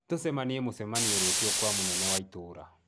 Tucemanie mũcemanio-inĩ rũciũ kwa mũnene wa itũũra